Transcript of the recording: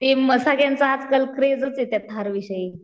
ते म सगळ्यांचं आजकाल क्रेझचे त्या थार विषयी.